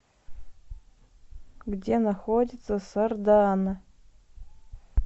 где находится сардаана